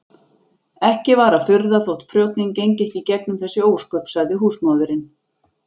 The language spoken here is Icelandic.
Ekki var að furða þótt prjónninn gengi ekki í gegnum þessi ósköp, sagði húsmóðirin.